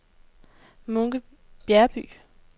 Munke Bjergby